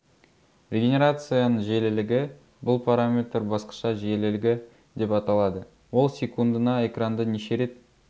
регенерацияның жиілілігі бұл параметр басқаша жиілілігі деп аталады ол секундына экранды неше рет